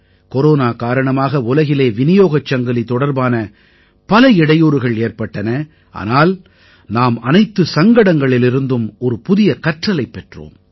corona காரணமாக உலகிலே விநியோகச் சங்கிலி தொடர்பான பல இடையூறுகள் ஏற்பட்டன ஆனால் நாம் அனைத்துச் சங்கடங்களிலிருந்தும் ஒரு புதிய கற்றலைப் பெற்றோம்